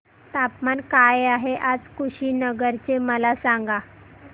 तापमान काय आहे आज कुशीनगर चे मला सांगा